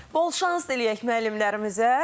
Bol şans diləyək müəllimlərimizə.